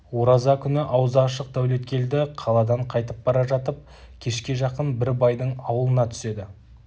ораза күні аузы ашық дәулеткелді қаладан қайтып бара жатып кешке жақын бір байдың аулына түседі